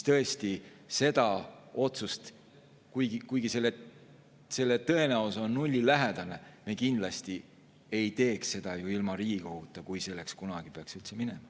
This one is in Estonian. Tõesti, seda otsust, kuigi tõenäosus on nullilähedane, me kindlasti ei teeks ju ilma Riigikoguta, kui selleni peaks asi kunagi üldse minema.